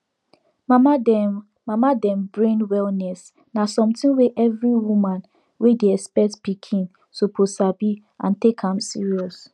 mama dem mama dem brain wellness na something wey every woman wey dey expect pikin suppose sabi and take am serious